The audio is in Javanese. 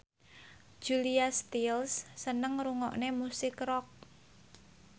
Julia Stiles seneng ngrungokne musik rock